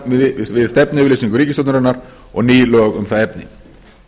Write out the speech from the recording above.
í samræmi við stefnuyfirlýsingu ríkisstjórnarinnar og ný lög um það efni